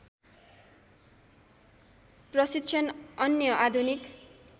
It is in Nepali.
प्रशिक्षण अन्य आधुनिक